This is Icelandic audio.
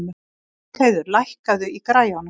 Bergheiður, lækkaðu í græjunum.